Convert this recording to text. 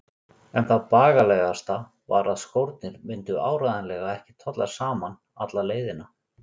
En það bagalegasta var að skórnir myndu áreiðanlega ekki tolla saman alla leiðina.